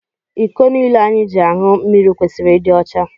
Iko niile anyị ji añụ mmiri kwesịrị ịdị ọcha.